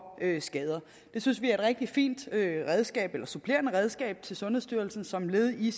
skader det synes vi er et rigtig fint supplerende redskab til sundhedsstyrelsen som led i